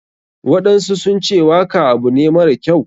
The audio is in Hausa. Waɗansu sunce waka abu ne mara kyau.